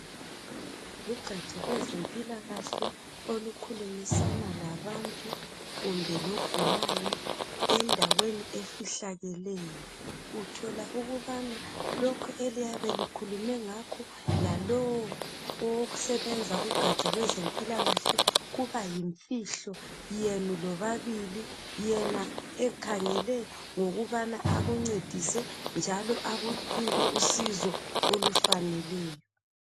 Lugatsha lwezempilakahle olukhulumisana labantu kumbe logulayo endaweni efihlakeleyo uthola ukubana lokhu eliyabe likhulume ngakho lalowo osebenza kugatsha lwezempilakahle kuba yimfihlo yenu lobabili yena ekhangele ngokubana akuncedise njalo akunike usizo olufaneleyo.